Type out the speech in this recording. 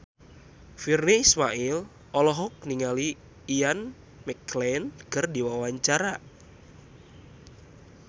Virnie Ismail olohok ningali Ian McKellen keur diwawancara